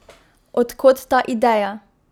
Od kod ta ideja?